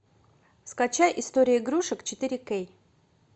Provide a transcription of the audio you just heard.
скачай история игрушек четыре кей